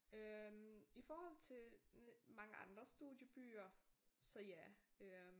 øh i forhold til mange andre studiebyer så ja øh